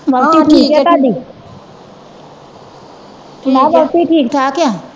ਵੋਹਟੀ ਠੀਕ ਆ ਤੁਹਾਡੀ ਮੈ ਕਿਹਾ ਵੋਹਟੀ ਠੀਕ ਠਾਕ ਆ।